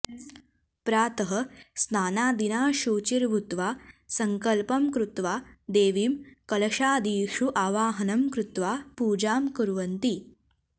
प्रातः स्नानादिना शुचिर्भूत्वा सङ्कल्पं कृत्वा देवीं कलशादिषु आवाहनं कृत्वा पूजां कुर्वन्ति